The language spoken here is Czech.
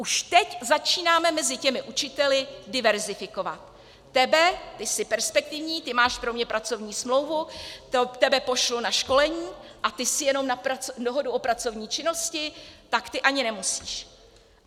Už teď začínáme mezi těmi učiteli diverzifikovat: Tebe, ty jsi perspektivní, ty máš pro mě pracovní smlouvu, tebe pošlu na školení, a ty jsi jenom na dohodu o pracovní činnosti, tak ty ani nemusíš.